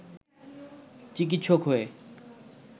চিকিৎসক হয়ে